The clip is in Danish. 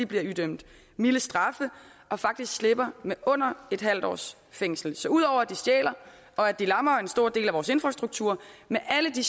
bliver idømt milde straffe og faktisk slipper med under en halv års fængsel så ud over at de stjæler og at de lammer en stor del af vores infrastruktur med alle de